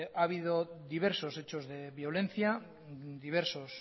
ha habido diversos hechos de violencia diversos